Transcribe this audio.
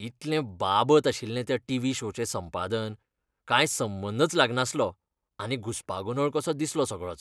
इतलें बाबत आशिल्लें त्या टीव्ही शोचें संपादन. कांय संबंदच लागनासलो आनी घुसपागोंदळ कसो दिसलो सगळोच.